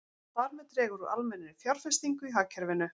Þar með dregur úr almennri fjárfestingu í hagkerfinu.